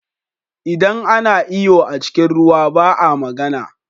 Idan ana iyo a cikin ruwa ba a magana.